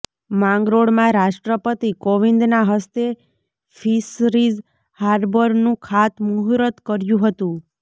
માંગરોળમાં રાષ્ટ્રપતિ કોવિંદના હસ્તે ફિશરીઝ હાર્બરનું ખાતમુર્હૂત કર્યું હતું